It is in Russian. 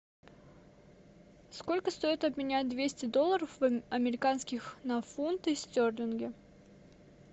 сколько стоит обменять двести долларов американских на фунты стерлинги